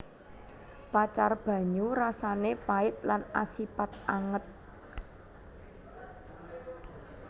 Pacar banyu rasané pait lan asipat anget